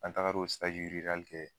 An tagar'o kɛ